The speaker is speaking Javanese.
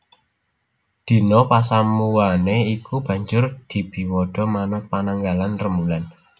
Dina pasamuwané iku banjur dibiwada manut pananggalan rembulan